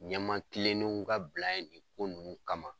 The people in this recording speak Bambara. Ɲɛmaa kilennenw ka bila yen nin ko nunnu kama.